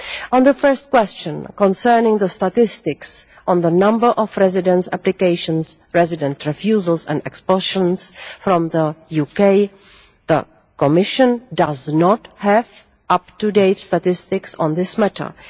On the first question, concerning the statistics on the number of residence applications, residence refusals and expulsions from the UK, the Commission does not have up to date statistics on this matter.